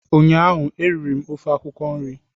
ụnyaahụ eriri m ofe akwụkwọ nri